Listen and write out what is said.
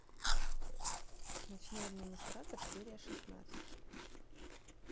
ночной администратор серия шестнадцать